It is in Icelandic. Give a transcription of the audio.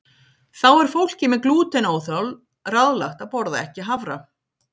Þá er fólki með glútenóþol ráðlagt að borða ekki hafra.